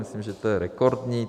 Myslím, že to je rekordní.